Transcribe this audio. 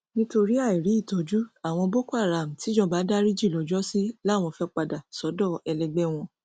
nítorí àìrí ìtọjú àwọn cs] boko haram tijọba dariji lọjọsí làwọn fee padà sọdọ ẹlẹgbẹ wọn